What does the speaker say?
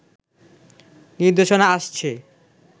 নির্দেশনা আসছে